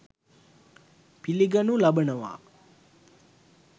පිළිගනු ලබනවා.